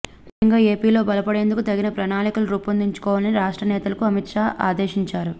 ముఖ్యంగా ఏపీలో బలపడేందుకు తగిన ప్రణాళికలు రూపొందించుకోవాలని రాష్ట్ర నేతలకు అమిత్ షా ఆదేశించారు